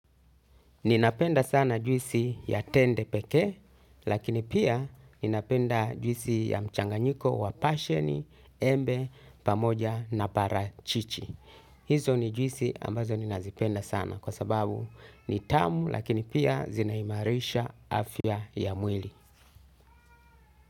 Ninapenda sana juisi ya tende pekee lakini pia ninapenda juisi ya mchanganyiko wa pasheni, embe, pamoja na parachichi. Hizo ni juisi ambazo ninazipenda sana kwasababu ni tamu lakini pia zinahimarisha afya ya mwili.